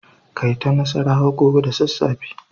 Kai ta nassarawa gobe da sassafe.